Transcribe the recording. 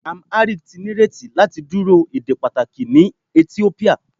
Amharic ti nireti lati duro ede pataki ni Etiopia